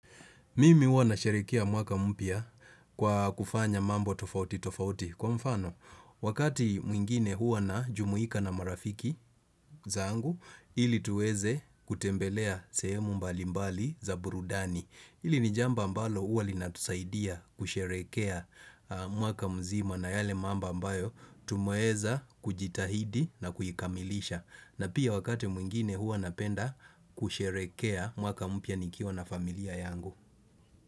Mimi huwa na sherekea mwaka mpya kwa kufanya mambo tofauti tofauti. Kwa mfano, wakati mwingine huwa na jumuika na marafiki zangu, ili tuweze kutembelea sehemu mbalimbali za burudani. Hili ni jambo ambalo huwa linatusaidia kusherekea mwaka mzima na yale mambo ambayo, tumeweza kujitahidi na kuikamilisha. Na pia wakati mwingine huwa napenda kusherekea mwaka mpya nikiwa na familia yangu.